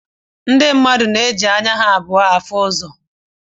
Ndi mmadụ na-eji anya ha abụọ áhù ụzọ